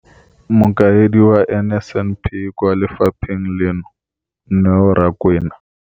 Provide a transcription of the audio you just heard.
Mokaedi wa NSNP kwa lefapheng leno, Neo Rakwena,